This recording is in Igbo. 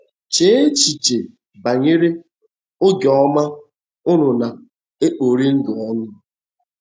Chee echiche banyere oge ọma unu na-ekpori ndụ ọnụ.